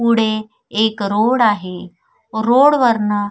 पुढे एक रोड आहे रोड वरन--